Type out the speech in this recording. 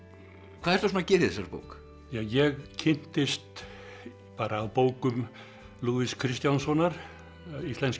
hvað ertu svona að gera í þessari bók ég kynntist bókum Lúðvíks Kristjánssonar Íslenskir